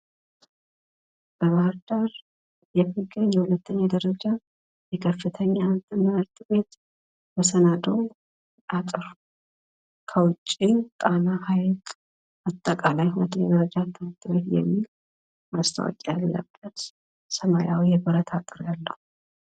በበህርዳር የሚገኝ የሁለተኛ ደረጃ የከፍተኛ ትምህርት ቤት መሰናዶ አጥር፤ ከዉጭ ጣና ሀይቅ አጠቃላይ ሁለተኛ ደረጃ ትምህርት ቤት የሚል ማስታወቂያ ያለበት ሰማያዊ የብረት አጥር ያለዉ።